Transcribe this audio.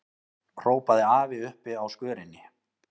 hrópaði afi uppi á skörinni.